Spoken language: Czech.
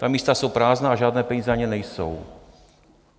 Ta místa jsou prázdná a žádné peníze na ně nejsou.